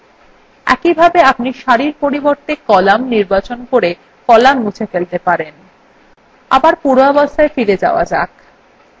একইভাবে আপনি সারির পরিবর্তে কলাম নির্বাচন করে কলাম মুছে ফেলতে পারেন